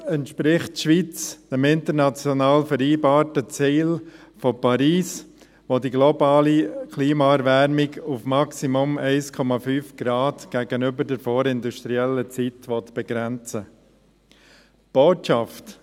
Damit entspricht die Schweiz dem international vereinbarten Ziel von Paris, welches die globale Klimaerwärmung auf maximal 1,5°C gegenüber der vorindustriellen Zeit begrenzen will.